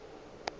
o be a se a